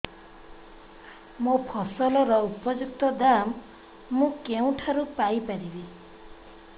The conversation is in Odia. ମୋ ଫସଲର ଉପଯୁକ୍ତ ଦାମ୍ ମୁଁ କେଉଁଠାରୁ ପାଇ ପାରିବି